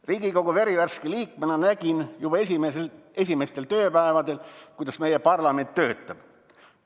Riigikogu verivärske liikmena nägin juba esimestel tööpäevadel, kuidas meie parlament töötab.